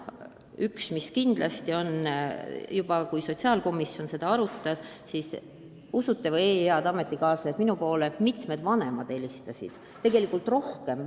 Üks teema, mis kindlasti õhus on, on see, et juba siis, kui sotsiaalkomisjon seda eelnõu arutas, usute või ei, head ametikaaslased, aga minule helistasid mitmed vanemad.